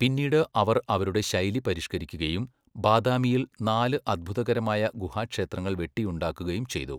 പിന്നീട് അവർ അവരുടെ ശൈലി പരിഷ്ക്കരിക്കുകയും ബാദാമിയിൽ നാല് അത്ഭുതകരമായ ഗുഹാ ക്ഷേത്രങ്ങൾ വെട്ടിയുണ്ടാകുകയും ചെയ്തു.